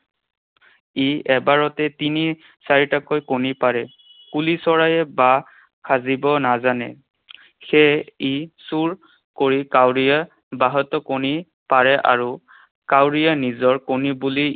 ই এবাৰতে তিনি চাৰিটাকৈ কণী পাৰে। কুলি চৰাইয়ে বাহ সাজিব নাজানে। সেয়ে ই চুৰ কৰি কাউৰীৰ বাহতো কণী পাৰে আৰু কাউৰীয়ে নিজৰ কণী বুলি